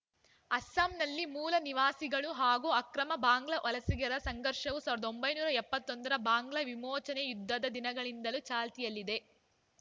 ಅಸ್ಸಾಂನಲ್ಲಿ ಮೂಲ ನಿವಾಸಿಗಳು ಹಾಗೂ ಅಕ್ರಮ ಬಾಂಗ್ಲಾ ವಲಸಿಗರ ಸಂಘರ್ಷವು ಸಾವಿರದ ಒಂಬೈನೂರ ಎಪ್ಪತ್ತೊಂದರ ಬಾಂಗ್ಲಾ ವಿಮೋಚನೆ ಯುದ್ಧದ ದಿನಗಳಿಂದಲೂ ಚಾಲ್ತಿಯಲ್ಲಿದೆ